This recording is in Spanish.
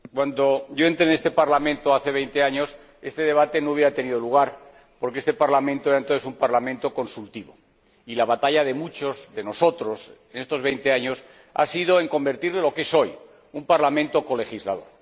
Señor Presidente, cuando yo entré en este Parlamento, hace veinte años, este debate no habría tenido lugar, porque este Parlamento era entonces un parlamento consultivo y la batalla de muchos de nosotros en estos veinte años ha sido convertirlo en lo que es hoy, un parlamento colegislador.